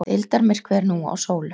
Deildarmyrkvi er nú á sólu